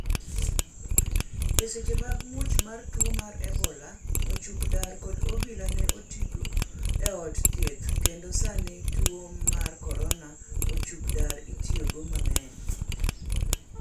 eseche mag muoch mar tuo mar ebola ochuk dar kod obila ne otigo e ute thieth kendo sani tuo mar korona, ochuk dar itiyogo mang'eny